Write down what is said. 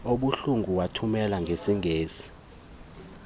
obuhlungu wawuthumela ngeseli